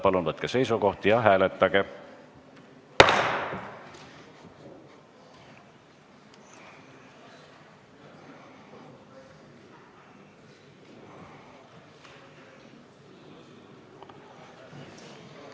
Palun võtke seisukoht ja hääletage!